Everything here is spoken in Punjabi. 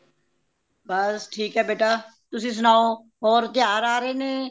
ਬੱਸ ਠੀਕ ਏ ਬੇਟਾ ਤੁਸੀਂ ਸੁਨਾਓ ਹੋਰ ਤਿਉਹਾਰ ਆ ਰਹੇ ਨੇ